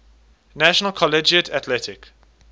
national collegiate athletic